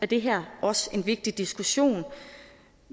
det her også en vigtig diskussion